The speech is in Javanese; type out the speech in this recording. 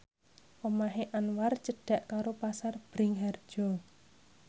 omahe Anwar cedhak karo Pasar Bringharjo